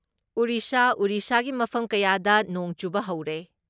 ꯎꯔꯤꯁꯥ ꯎꯔꯤꯁꯥꯒꯤ ꯃꯐꯝ ꯀꯌꯥꯗ ꯅꯣꯡ ꯆꯨꯕ ꯍꯧꯔꯦ ꯫